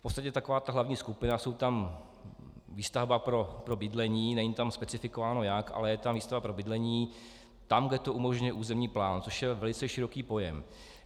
V podstatě taková ta hlavní skupina - je tam výstavba pro bydlení, není tam specifikováno jak, ale je tam výstavba pro bydlení, tam, kde to umožňuje územní plán, což je velice široký pojem.